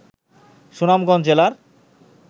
সুনামগঞ্জ জেলার